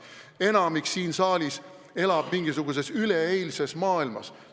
Enamik siin saalis elab mingisuguses üleeilses maailmas.